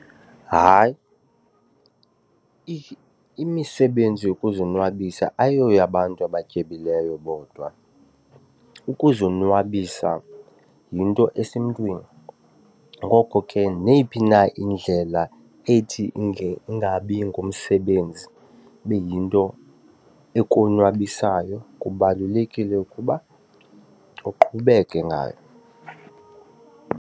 Hayi, imisebenzi yokuzonwabisa ayoyabantu abatyebileyo bodwa. Ukuzonwabisa yinto esemntwini, ngoko ke neyiphi na indlela ethi ingabi ngumsebenzi ibe yinto ekonwabisayo kubalulekile ukuba uqhubeke ngayo.